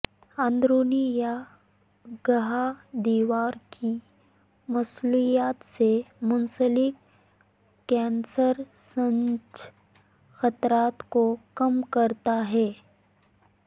اندرونی یا گہا دیوار کی موصلیت سے منسلک کنسرسنج خطرات کو کم کرتا ہے